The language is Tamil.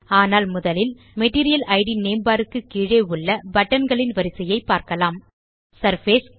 ஆனால் முதலில் மெட்டீரியல் இட் நேம் பார் க்கு கீழே உள்ள பட்டன் களின் வரிசையைப் பார்க்கலாம் சர்ஃபேஸ்